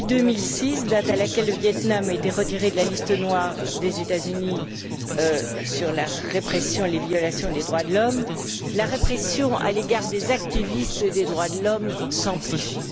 Depuis 2006, date à laquelle le Viêt Nam a été retiré de la liste noire établie par les États Unis sur la répression et les violations des droits de l'homme, la répression à l'égard des activistes des droits de l'homme s'amplifie.